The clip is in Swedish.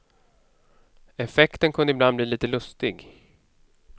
Effekten kunde ibland bli lite lustig.